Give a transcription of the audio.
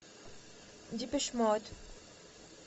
депеш мод